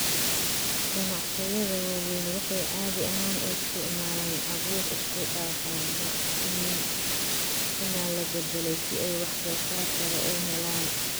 Ganacsiyada waaweyni waxay caadi ahaan u isticmaalaan abuur isku-dhafan ama iniin la beddelay si ay wax-soosaar sare u helaan.